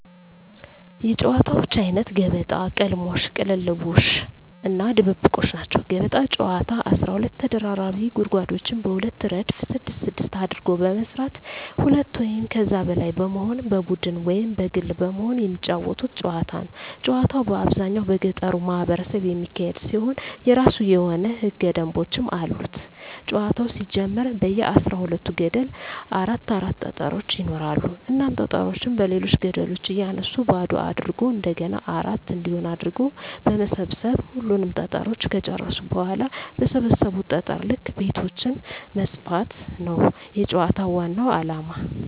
የጨዋታወች አይነት ገበጣ፣ ቅልሞሽ(ቅልልቦሽ) እና ድብብቆሽ ናቸዉ። ገበጣ ጨዋታ 12 ተቀራራቢ ጉድጓዶችን በሁለት እረድፍ ስድስት ስድስት አድርጎ በመስራት ሁለት ወይም ከዚያ በላይ በመሆን በቡድን ወይም በግል በመሆን የመጫወቱት ጨዋታ ነዉ። ጨዋታዉ በአብዛኛዉ በገጠሩ ማህበረሰብ የሚካሄድ ሲሆን የእራሱ የሆኑ ህገ ደንቦችም አሉት ጨዋታዉ ሲጀመር በየ አስራ ሁለት ገደሉ አራት አራት ጠጠሮች ይኖራሉ እናም ጠጠሮችን በሌሎች ገደሎች እያነሱ ባዶ አድርጎ እንደገና አራት እንዲሆን አድርጎ በመሰብ ሰብ ሁሉንም ጠጠሮች ከጨረሱ በኋላ በሰበሰቡት ጠጠር ልክ ቤቶችን መስፋት ነዉ የጨዋታዉ ዋናዉ አላማ።